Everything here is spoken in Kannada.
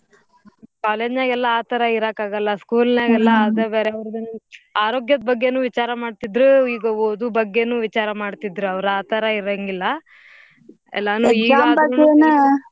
College ನಾಗೆಲ್ಲಾ ಆ ತರಾ ಇರಾಕ್ ಆಗಲ್ಲ school ನಾಗೆಲ್ಲಾ ಅದ ಬ್ಯಾರೆ ಅವ್ರದ್ ಆರೋಗ್ಯದ್ ಬಗ್ಗೆನು ವಿಚಾರಾ ಮಾಡ್ತಿದ್ರೂ ಈಗ ಓದೂ ಬಗ್ಗೆನೂ ವಿಚಾರಾ ಮಾಡ್ತಿದ್ರ ಅವ್ರ್ ಆ ತರಾ ಇರಂಗಿಲ್ಲ ಎಲ್ಲಾನೂ .